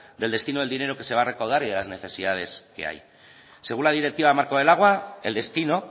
del destino del dinero que se va a recaudar y de las necesidades que hay según la directiva marco del agua el destino